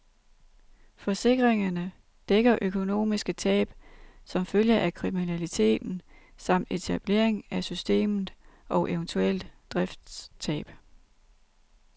Forsikringerne dækker økonomiske tab som følge af kriminaliteten samt etablering af systemet og eventuelt driftstab.